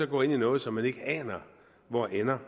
går ind i noget som man ikke aner hvor ender